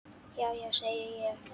Já já, segi ég.